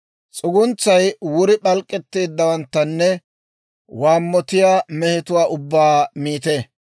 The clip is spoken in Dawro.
S'uguntsay wuri p'alk'k'etteeddawanttanne waammotiyaa mehetuwaa ubbaa miite.